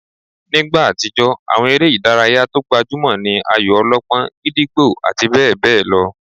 Nígbà àtijó, àwọn eré ìdárayá tó gbajúmọ̀ ní ayò-ọlọ́pọ́n, gídígbò àti bẹ́ẹ̀ bẹ́ẹ̀ lọ